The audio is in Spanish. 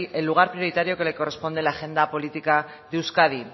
el lugar prioritario que le corresponde en la agenda política de euskadi